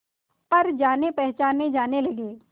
पर जानेपहचाने जाने लगे